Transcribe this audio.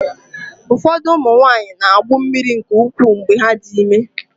Ụfọdụ ụmụ nwanyị na-agbụ mmiri nke ukwuu mgbe ha dị ime.